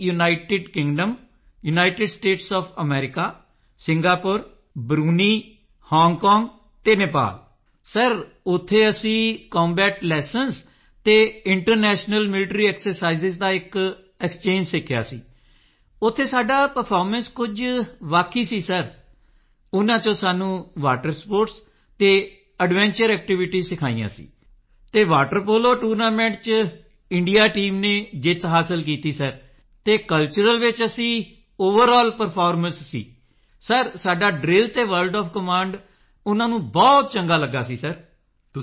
United Kingdom United States of America Singapore Brunei Hong Kong ਅਤੇ Nepal ਇੱਥੇ ਅਸੀਂ combat lessons ਅਤੇ ਇੰਟਰਨੈਸ਼ਨਲ ਮਿਲੀਟਰੀ ਐਕਸਰਸਾਈਜ਼ ਦਾ ਇੱਕ ਐਕਸਚੇਂਜ ਸਿੱਖਿਆ ਸੀ ਇੱਥੇ ਸਾਡਾ ਪਰਫਾਰਮੈਂਸ ਕੁਝ ਹੀ ਅਲੱਗ ਸੀ ਸਿਰ ਇਨ੍ਹਾਂ ਵਿੱਚੋਂ ਸਾਨੂੰ ਵਾਟਰ ਸਪੋਰਟਸ ਅਤੇ ਐਡਵੈਂਚਰ ਐਕਟੀਵਿਟੀਜ਼ ਸਿਖਾਈਆਂ ਸਨ ਅਤੇ ਵਾਟਰ ਪੋਲੋ ਟੂਰਨਾਮੈਂਟ ਵਿੱਚ ਇੰਡੀਆ ਟੀਮ ਨੇ ਜਿੱਤ ਹਾਸਲ ਕੀਤੀ ਸੀ ਸਿਰ ਅਤੇ ਕਲਚਰਲ ਵਿੱਚ ਅਸੀਂ ਓਵਰਲ ਪਰਫਾਰਮਰਜ਼ ਸਾਂ ਸਿਰ ਸਾਡਾ ਡ੍ਰਿਲ ਅਤੇ ਵਰਡ ਓਐਫ ਕਮਾਂਡ ਬਹੁਤ ਚੰਗਾ ਲੱਗਾ ਸੀ ਸਿਰ ਉਨ੍ਹਾਂ ਨੂੰ